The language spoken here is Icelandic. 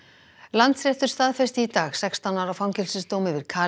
Landsréttur staðfesti í dag sextán ára fangelsisdóm yfir